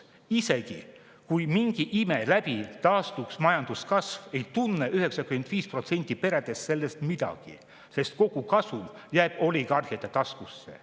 Isegi kui mingi ime läbi taastuks majanduskasv, ei tunneks 95% peredest sellest midagi, sest kogu kasum jääb oligarhide taskusse.